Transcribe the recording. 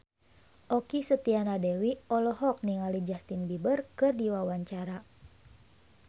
Okky Setiana Dewi olohok ningali Justin Beiber keur diwawancara